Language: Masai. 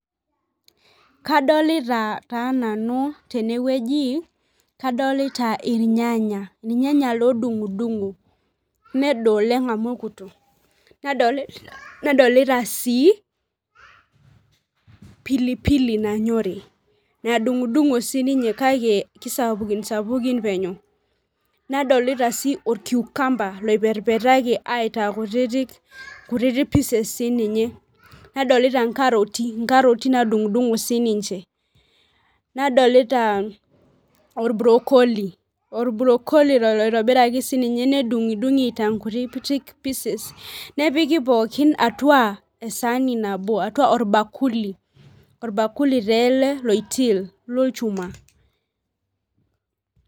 Kadolita taa nanu tenewueji, kadolita irnyanya, irnyanya lodungdungo nedo oleng amu ekuto, nadolita si pilipili nanyori nadungdungo sininye kake kisapsapukin penyo nadolta si or cucumber oiperperaki aitaa kutitik pieces sininye nadolta nkaroti nadungdungo sininche, nadolta orbrocoli lotobiraki nedungdungi aitaa nkutitik piecesi nepiki pookin atua esaani nabo nepiki pookin atua orbakuli ,orbakuli tele loitil lolchuma.